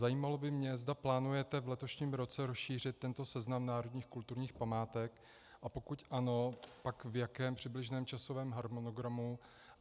Zajímalo by mě, zda plánujete v letošním roce rozšířit tento seznam národních kulturních památek, a pokud ano, pak v jakém přibližném časovém harmonogramu.